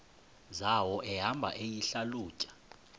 zawo ehamba eyihlalutya